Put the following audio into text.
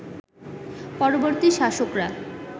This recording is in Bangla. পরবর্তী শাসকরা